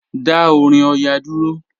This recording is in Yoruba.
Dá orin Ọya dúró.